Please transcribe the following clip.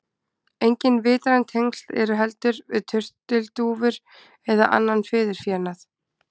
Engin vitræn tengsl eru heldur við turtildúfur eða annan fiðurfénað.